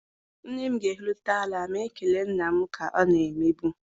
Nne m ga-ehulata ala ma kelee nna m ka ọ na-emebu.